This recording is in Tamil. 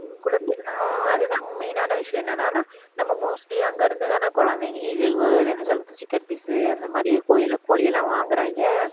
அஹ் அதுதான் main னான விஷயம் என்னன்னா நம்ம mostly அங்க இருந்துதானே குழந்தைங்க இது இது chicken piece அந்த மாதிரி கோ~ கோழி எல்லாம் வாங்குறாங்க